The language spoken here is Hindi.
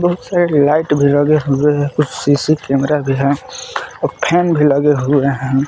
बहुत सारे लाइट भी लगे हुए हैं कुछ सी_सी कैमरा भी है और फैन भी लगे हुए हैं।